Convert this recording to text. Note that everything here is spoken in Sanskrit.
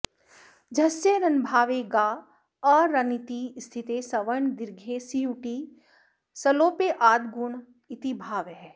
झस्य रन्भावे गा अ रन्निति स्थिते सवर्णदीर्घे सीयुटि सलोपे आद्गुण इतिभावः